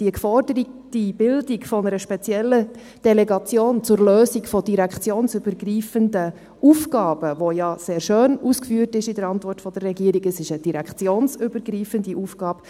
Die geforderte Bildung einer speziellen Delegation zur Lösung von direktionsübergreifenden Aufgaben, die ja sehr schön ausgeführt ist in der Antwort der Regierung, ist eine direktionsübergreifende Aufgabe;